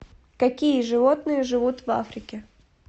какие животные живут в африке